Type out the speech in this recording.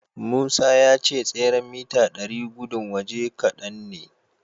Musa ya ce tseren mita ɗari gudun waje kadan ne.